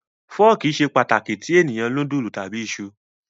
Fọ́ọ́kì ṣe pàtàkì tí ènìyàn núdúlù tàbí iṣu.